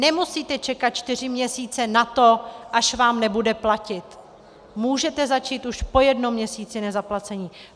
Nemusíte čekat čtyři měsíce na to, až vám nebude platit, můžete začít už po jednom měsíci nezaplacení.